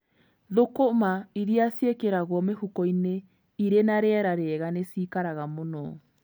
Thũkũma irĩa ciĩkĩragwo mĩhuko-inĩ ĩrĩ na rĩera rĩega nĩ cikaraga mũno.